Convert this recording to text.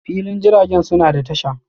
filin jiragen suna da tasha.